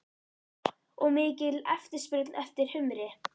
Og mikil eftirspurn eftir humri?